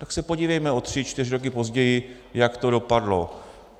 Tak se podívejme o tři čtyři roky později, jak to dopadlo.